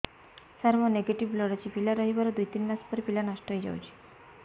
ସାର ମୋର negative blood ଅଛି ପିଲା ରହିବାର ଦୁଇ ତିନି ମାସ ପରେ ପିଲା ନଷ୍ଟ ହେଇ ଯାଉଛି